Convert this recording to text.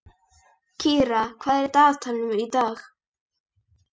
Hvar sem dottandi varðmann var að sjá, þar geyjaði hundur.